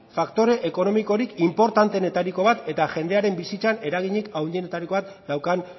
faktore ekonomikorik inportantenetariko bat eta jendearen bizitzan eraginik handienetariko bat daukan